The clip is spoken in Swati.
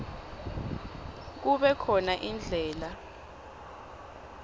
kube khona indlela